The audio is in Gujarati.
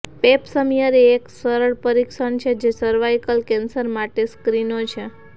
પેપ સમીયર એ એક સરળ પરીક્ષણ છે જે સર્વાઇકલ કેન્સર માટે સ્ક્રીનો છે